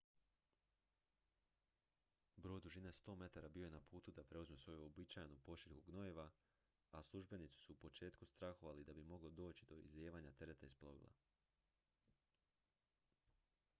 brod dužine 100 metara bio je na putu da preuzme svoju uobičajenu pošiljku gnojiva a službenici su u početku strahovali da bi moglo doći do izlijevanja tereta iz plovila